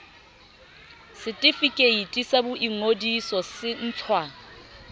setefikeiti sa boingodiso se ntshwa